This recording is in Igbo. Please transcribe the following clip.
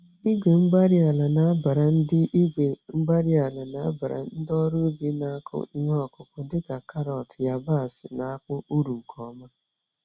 Igwe-mgbárí-ala nabara ndị Igwe-mgbárí-ala nabara ndị ọrụ ubi na-akụ ihe ọkụkụ dị ka karọt, yabasị, na akpụ, uru nke ọma